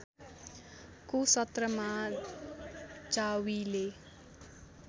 को सत्रमा जावीले